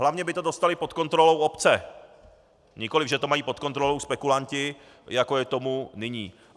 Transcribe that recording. Hlavně by to dostaly pod kontrolu obce, nikoliv že to mají pod kontrolou spekulanti, jako je tomu nyní.